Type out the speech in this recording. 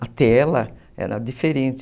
A tela era diferente.